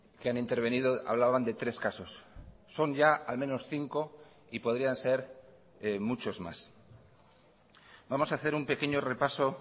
que han intervenido hablaban de tres casos son ya al menos cinco y podrían ser muchos más vamos a hacer un pequeño repaso